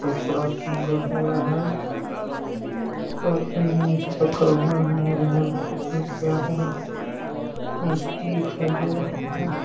कपड़ा टंगा हुआ है रखा हुआ मोड़-मोड़ के इसमें किया हुआ है मस्त दिखाई दे रहा हैं ।